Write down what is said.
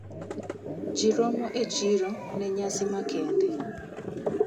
Ji romo e chiro ne nyasi ma kende.